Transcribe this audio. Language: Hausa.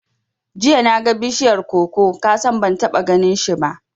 Jiya naga bishiyar koko, kasan ban taɓa ganinshi ba